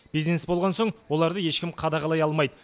бизнес болған соң оларды ешкім қадағалай алмайды